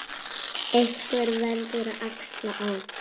Einhver verður að axla ábyrgð.